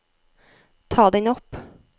ta den opp